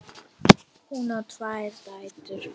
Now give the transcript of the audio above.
Hún á tvær dætur.